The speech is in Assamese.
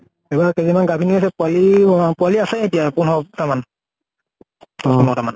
এইবাৰ কাইজনী মান গাভিনী আছে পোৱালী পোৱালী আছে এতিয়া পোন্ধৰ টা মান, দশ পোন্ধৰ টা মান।